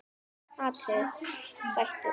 atriði: Sættir?